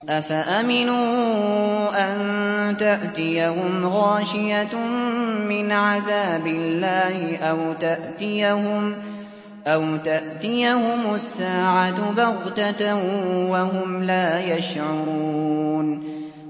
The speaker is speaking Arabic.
أَفَأَمِنُوا أَن تَأْتِيَهُمْ غَاشِيَةٌ مِّنْ عَذَابِ اللَّهِ أَوْ تَأْتِيَهُمُ السَّاعَةُ بَغْتَةً وَهُمْ لَا يَشْعُرُونَ